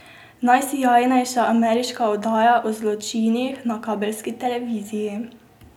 Najsijajnejša ameriška oddaja o zločinih na kabelski televiziji.